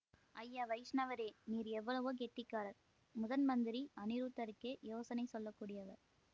ஐயா வைஷ்ணவரே நீர் எவ்வளவோ கெட்டிக்காரர் முதன்மந்திரி அநிருத்தருக்கே யோசனை சொல்ல கூடியவர்